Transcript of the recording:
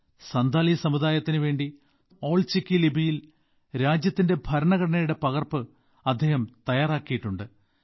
സന്താലി സമുദായത്തിന് വേണ്ടി സ്വന്തം ഓൾ ചിക്കി ലിപിയിൽ രാജ്യത്തിന്റെ ഭരണഘടനയുടെ പകർപ്പ് അദ്ദേഹം തയ്യാറാക്കിയിട്ടുണ്ട്